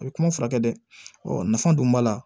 A bɛ kuma furakɛ dɛ nafa dun b'a la